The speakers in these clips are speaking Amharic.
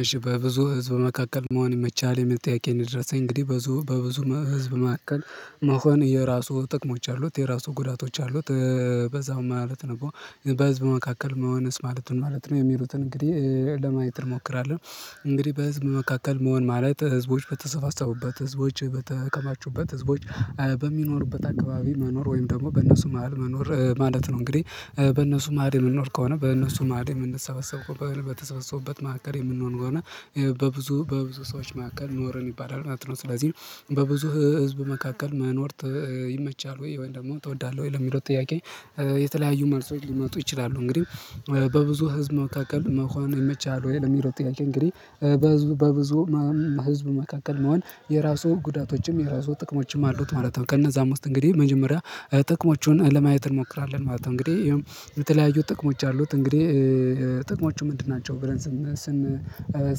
እሺ በብዙ ህዝብ መካከል መሆን የመቻል የሚል ጥያቄ ነው ድረኝ እንግዲህ በብዙ በብዙ ህዝብ መካከል መሆን የራሱ ጥቅሞች አሉት የራሱ ጉዳቶች አሉት በዛው ማለት ነው በህዝብ መካከል መሆንስ ማለት ማለት ነው የሚሉትን እንግዲህ ለማየት እንሞክራለን እንግዲህ በህዝብ መካከል መሆን ማለት ህዝቦች በተሰፋሰፉበት ህዝቦች በተከማቹበት ህዝቦች በሚኖሩበት አካባቢ መኖር ወይም ደግሞ በእነሱ መሃል መኖር ማለት ነው እንግዲህ በእነሱ ማድም የምንኖር ከሆነ በእነሱ ማድም የምንሰበሰብ ከሆነ በተሰበሰቡበት መካከል የምንሆን ከሆነ በብዙ በብዙ ሰዎች መካከል ኖረን ይባላል ማለት ነው። ስለዚህ በብዙ ህዝብ መካከል መኖር ይመቻል ወይ ወይ ደግሞ ትወዳለህ ወይ? ለሚለው ጥያቄ የተለያዩ መልሶች ሊመጡ ይችላሉ እንግዲህ በብዙ ህዝብ መካከል መሆኑ ይመቻሃል ወይ ለሚለው ጥያቄ እንግዲህ በብዙ በብዙ ህዝብ መካከል መሆን የራሱ ጉዳቶችም የራሱ ጥቅሞችም አሉት ማለት ነው። ከነዛ አምስት እንግዲህ መጀመሪያ ጥቅሞቹን ለማየት እንሞክራለን ማለት ነው። እንግዲህ የተለያዩ ጥቅሞች አሉት እንግዲህ ጥቅሞቹ ምንድን ናቸው ብለን ስን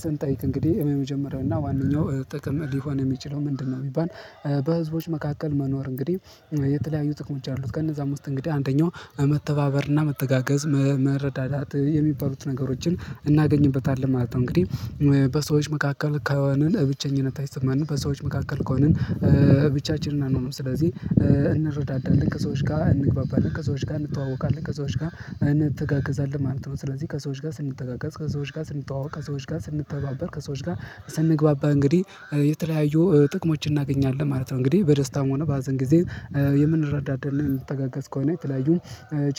ስንጠይቅ እንግዲህ የመጀመሪያው እና ዋነኛው ጥቅም ሊሆን የሚችለው ምንድነው? ቢባል በህዝቦች መካከል መኖር እንግዲህ የተለያዩ ጥቅሞች አሉት ከነዛም ዉስጥ እንግዲህ አንደኛው መተባበርና መተጋገዝ መረዳዳት የሚባሉት ነገሮችን እናገኝበታለን ማለት ነው። እንግዲህ በሰዎች መካከል ከሆንን ብቸኝነት አይሰማንም በሰዎች መካከል ከሆንን ብቻችንን አንሆንም ስለዚህ እንረዳዳለን ከሰዎች ጋር እንግባባለን ከሰዎች ጋር እንተዋወቃለን ከዛው ጋር እንተጋገዛለን ማለት ነው ስለዚህ ከዛው ጋር ስንተጋገዝ ከሰዎች ጋር ስንጠዋወቅ ከሰዎች ጋር ስንተባበር ከሰዎች ጋር ስንግባባ እንግዲህ የተለያዩ ጥቅሞችን እናገኛለን ማለት ነው እንግዲህ በደስታም ሆነ በሀዘን ጊዜ የምንረዳዳ የምንተጋገዝ ከሆነ የተለያዩ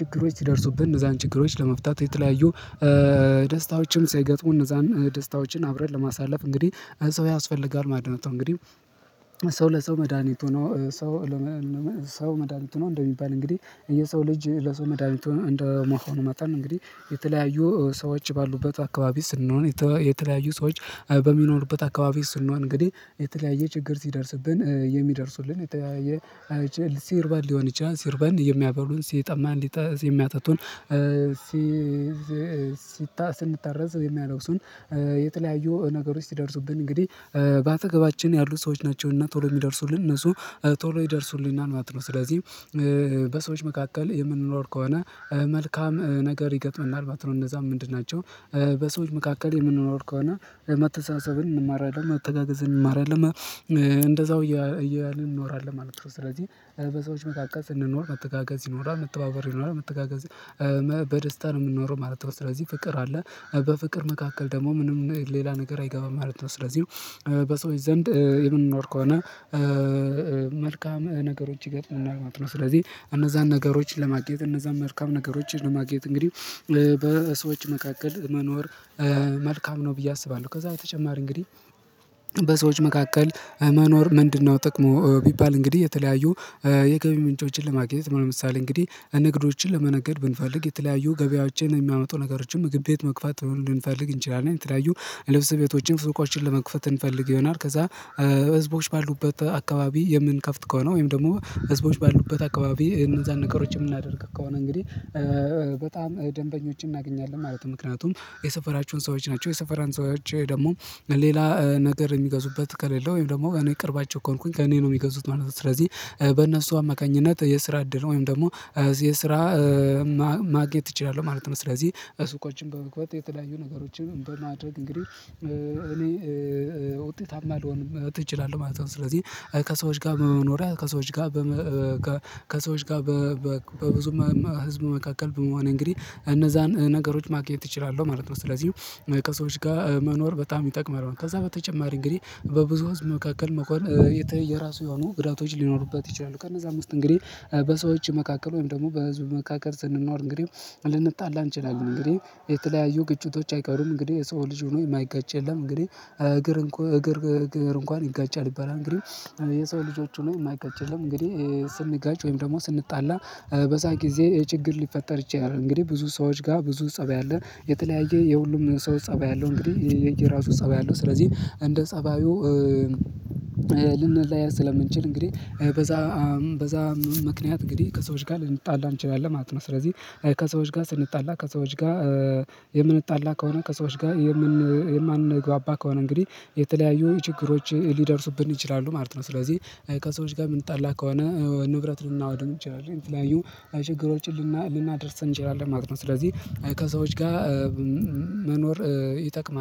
ችግሮች ሲደርሱብን እነዛን ችግሮች ለመፍታት የተለያዩ ደስታዎችን ሲገጥሙ እነዛን ደስታዎችን አብረን ለማሳለፍ እንግዲህ ሰው ያስፈልጋል ማለት ነጡ እንግዲህ ሰው ለሰው መድሃኒት ሆኖ ሰው ሰው መድሃኒት ሆኖ እንደሚባል እንግዲህ የሰው ልጅ ለሰው መዳኒት ሆኖ እንደመሆኑ መጣን እንግዲህ የተለያዩ ሰዎች ባሉበት አካባቢ ስንሆን የተለያዩ ሰዎች በሚኖሩበት አካባቢ ስሆን እንግዲህ የተለያየ ችግር ሲደርስብን የሚደርሱልን የተያየ ሲርበን ሊሆን ይችላል ሲርበን የሚያበሉን ሲጠማን ሊጠ የሚያጠጡን ሲ ሲታ ሲታሰንታረዝ የሚያለው ሰው የተለያዩ ነገሮች ሲደርሱብን እንግዲህ በአጠገባችን ያሉ ሰዎች ናቸውና ቶሎ የሚደርሱልን እነሱ ቶሎ ይደርሱልናል ማለት ነው ስለዚህ በሰዎች መካከል የምንኖር ከሆነ መልካም ነገር ይገጥመናል ማለት ነው እነዛም ምንድን ናቸው? በሰዎች መካከል የምንኖር ከሆነ መተሳሰብን እንማራለን መተጋገዝን አንማራለን እንደዛው እያለ እንኖራለን ማለት ነው ስለዚህ በሰዎች መካከል ስንኖር መተጋገዝ ይኖራል መተባበር ይኖራል መተጋገዝ በደስታ ነው የምንኖረው ማለት ነው ስለዚህ ፍቅር አለ በፍቅር መካከል ደግሞ ምንም ሌላ ነገር አይገባም ማለት ነው ስለዚህ በሰዎች ዘንድ የምንኖር ከሆነ መልካም ነገሮች ይገጥመናል ማለት ነው። ስለዚህ እነዛን ነገሮችን ለማግኘት እነዛን መልካም ነገሮችን ለማግኘት እንግዲህ በሰዎች መካከል መኖር መልካም ነው ብዬ አስባለሁ ከዛ በተጨማሪ እንግዲህ በሰዎች መካከል መኖር ምንድነው ጠቅሙ ቢባል እንግዲህ የተለያዩ የገቢ ምንጮችን ለማግኘት ምን ለምሳሌ እንግዲህ ንግዶችን ለመነገድ ብንፈልግ የተለያዩ ገበያዎችን የሚያመጡ ነገሮችን ምግብ ቤት መክፋት መሆን ልንፈልግ እንችላለን የተለያዩ ልብስ ቤቶችን ሱቆችን ለመክፈት እንፈልግ ይሆናል ከዛ ህዝቦች ባሉበት አካባቢ የምንከፍት ከሆነ ወይም ደግሞ ህዝቦች ባሉበት አካባቢ እነዛን ነገሮችን የምናደርግ ከሆነ እንግዲህ በጣም ደንበኞችን እናገኛለን ማለት ነው ምክንያቱም የሰፈራችሁን ሰዎች ናቸው የሰፈራን ሰዎች ደግሞ ሌላ ነገር የሚገዙበት ከሌለ ወይም ደግሞ እኔ ቅርባቸው ከሆንኩኝ ከእኔ ነው የሚገዙት ማለት ነው ስለዚህ በእነሱ አማካኝነት የስራ እድል ወይም ደግሞ የስራ ማግኘት እችላለው ማለት ነው ስለዚህ ሱቆችን በመክፈት የተለያዩ ነገሮችን በማድረግ እንግዲህ እኔ ውጤታማ አልሆንም መጥተው እችላለው ማለት ነው ስለዚህ ከሰዎች ጋር በመኖሪያ ከሰዎች ጋር ከሰዎች ጋር በ በብዙ ህዝብ መካከል በመሆን እንግዲህ እነዛን ነገሮች ማግኘት እችላለሁ ማለት ነው። ስለዚህ ከሰዎች ጋር መኖር በጣም ይጠቅመናል ከዛ በተጨማሪ እንግዲህ በብዙ ህዝብ መካከል መሆን የተየራሱ የሆኑ ግዳቶች ሊኖሩበት ይችላሉ። ከነዛ ዉስጥ እንግዲህ በሰዎች መካከል ወይም ደግሞ በህዝብ መካከል ስንኖር እንግዲህ ልንጣላ እንችላለን እንግዲህ የተለያዩ ግጭቶች አይቀሩም እንግዲህ የሰው ልጅ ሆኖ የማይጋጭ የለም እንግዲህ እግር እንኳን እግር እንኳን ይጋጫል ይባላልደ እንግዲህ የሰው ልጆች ሆኖ የማይጋጭ የለም እንግዲህ ስንጋጭ ወይም ደግሞ ስንጣላ በዛ ጊዜ የችግር ሊፈጠር ይችላል እንግዲህ ብዙ ሰዎች ጋር ብዙ ፀብ ያለ የተለያየ የሁሉም ሰው ፀባይ አለው እንግዲህ የየራሱ ፀባይ አለው ስለዚህ እንደ ፀባዩ ልንለያይ ስለምንችል እንግዲህ በዛ በዛ ምክንያት እንግዲህ ከሰዎች ጋር ልንጣላ እንችላለን ማለት ነው። ስለዚህ ከሰዎች ጋር ስንጣላ ከሰዎች ጋ የምንጣላ ከሆነ ከሰዎች ጋር የማንግባባ ከሆነ እንግዲህ የተለያዩ ችግሮች ሊደርሱብን ይችላሉ ማለት ነው። ስለዚህ ከሰዎች ጋር የምንጣላ ከሆነ ንብረት ልናወድም እንችላለን የተለያዩ ችግሮችን ልናደርስ እንችላለን ማለት ነው። ስለዚህ ከሰዎች ጋር መኖር ይጠቅማል